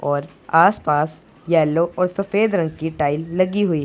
और आस पास येलो और सफेद रंग की टाइल लगी हुई--